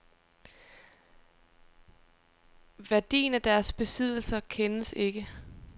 Værdien af deres besiddelser kendes ikke.